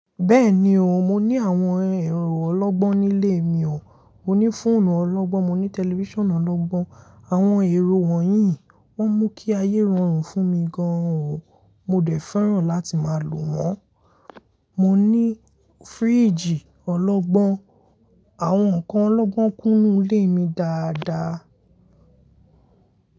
Bẹ́ẹ̀ni o, mo ní àwọn ẹ̀rọ ọlọ́gbọ́n nílé mi o, mo ní fóònù ọlọ́gbọ́n, mo ní tẹlifíṣàn ọlọ́gbọ́n, àwọn ẹ̀rọ wọ̀nyí wọ́n mú kí ayé rọrùn fún mi gan o, mo dẹ̀ fẹ́ràn láti máa lò wọ́n. Mo ní fíríjì ọlọ́gbọ́n, àwọn nǹkan ọlọ́gbọ́n kún ilé mi dáadáa.